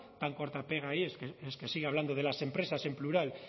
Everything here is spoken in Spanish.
tan corta pega que es que sigue hablando de las empresas en plural